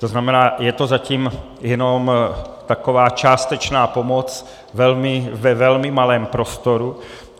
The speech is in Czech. To znamená, je to zatím jenom taková částečná pomoc ve velmi malém prostoru.